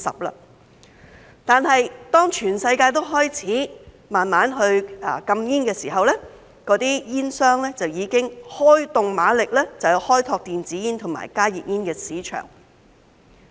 不過，當全世界都開始逐步禁煙的時候，那些煙商就已經開動馬力，開拓電子煙及加熱煙的市場。